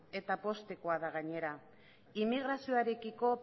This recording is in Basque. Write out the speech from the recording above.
eta poztekoa da gainera inmigrazioarekiko